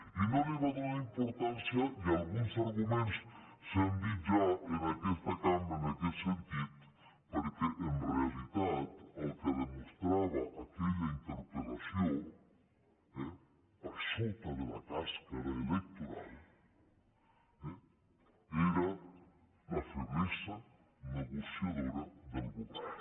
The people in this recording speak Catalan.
i no li va donar importància i alguns arguments s’han dit ja en aques·ta cambra en aquest sentit perquè en realitat el que demostrava aquella interpel·lació per sota de la clos·ca electoral era la feblesa negociadora del govern